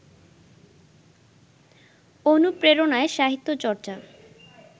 অনুপ্রেরণায় সাহিত্য চর্চা